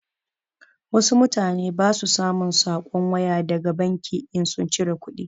Wasu mutane ba su samun saƙon waya daga banki in sun cire kuɗi.